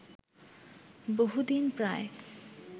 বহুদিন প্রায়